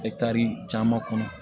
Etari caman kɔnɔ